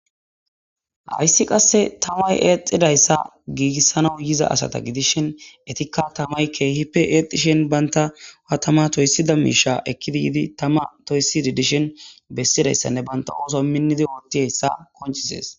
hayssi qasse tamay eexidayssa giigissana yiza asata gidishhen etikka tamay keehipe eexishen banta wa tama toysida miisha ekkidi yiidi tama toyssidi dishen bessidayssanne banta ooso minnidi wootti hessa konchisees